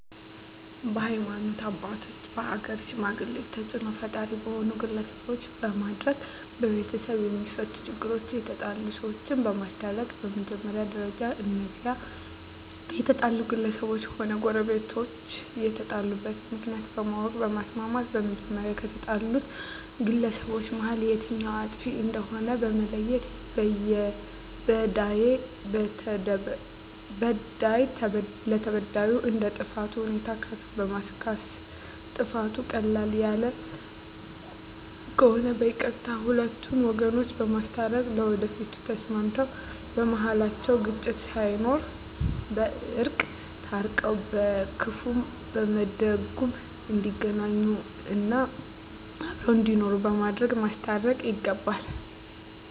በሀይማኖት አባቶች በሀገር ሽማግሌ ተፅእኖ ፈጣሪ በሆኑ ግለሰቦች በማድረግ በቤተሰብ የማፈቱ ችግሮች የተጣሉ ሰዎችን በማስታረቅ በመጀመሪያ ደረጃ እነዚያ የተጣሉ ግለሰቦችም ሆነ ጎረቤቶች የተጣሉበትን ምክንያት በማወቅ በማስማማት በመጀመሪያ ከተጣሉት ግለሰቦች መሀል የትኛዉ አጥፊ እንደሆነ በመለየት በዳዩ ለተበዳዩ እንደ ጥፋቱ ሁኔታ ካሳ በማስካስ ጥፋቱ ቀለል ያለ ከሆነ በይቅርታ ሁለቱን ወገኖች በማስታረቅ ለወደፊቱ ተስማምተዉ በመሀላቸዉ ግጭት ሳይኖር በእርቅ ታርቀዉ በክፉም በደጉም እንዲገናኙ እና አብረዉ እንዲኖሩ በማድረግ ማስታረቅ ይገባል